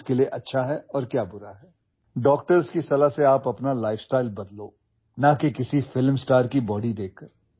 You should change your lifestyle on the advice of doctors and not by looking at the body of a film star